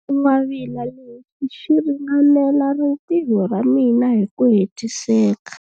Xingwavila lexi xi ringanela rintiho ra mina hi ku hetiseka.